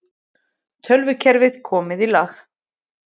Tölvukerfi komið í lag